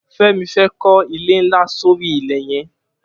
Femi fè kọ ilé nlá sóri ilẹ yẹ̀n